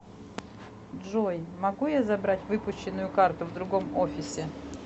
джой могу я забрать выпущенную карту в другом офисе